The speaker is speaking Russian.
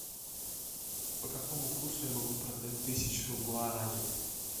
по какому курсу я могу продать тысячу гуарани